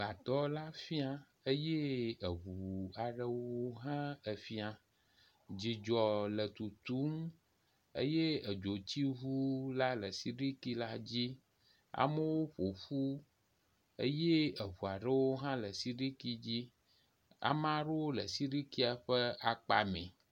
Gbadɔ la fia eye eŋu aɖewo hã efia, dzidzɔ le tutum eye edzotsiŋua la le siɖikia dzi ame ɖo ƒoƒu eye eŋua ɖo hã le siɖiki dzi, ame ɖo le siɖikia ƒe akpa mɛ